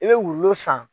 I bɛ wulu san